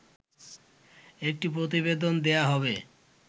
একটি প্রতিবেদন দেয়া হবে